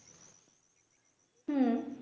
হুঁ